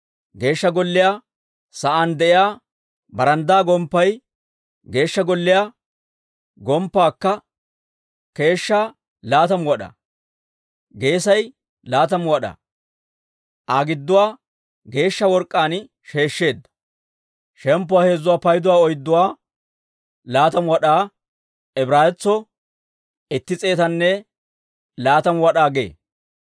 Geeshsha Golliyaa geliyaa sa'aan de'iyaa baranddaa gomppay Geeshsha Golliyaa gomppaakka keeshshaa laatamu wad'aa; geesay laatamu wad'aa. Aa gidduwaa geeshsha work'k'aan sheeshsheedda. 3:4 Laatamu wad'aa: Ibraawetsuu itti s'eetanne laatamu wad'aa gee.